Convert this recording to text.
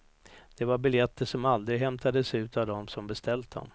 Det var biljetter som aldrig hämtades ut av dem som beställt dem.